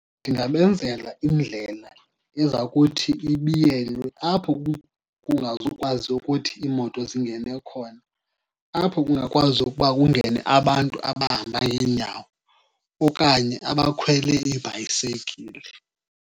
Ndingabenzela indlela eza kuthi ibiyelwe apho kungazukwazi ukuthi iimoto zingene khona, apho kungakwazi ukuba kungene abantu abahamba ngeenyawo okanye abakhwele iibhayisekile.